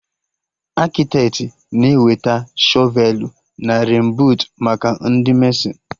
Akịtetị na-eweta shọvelụ na renbuut maka Ndị mesịn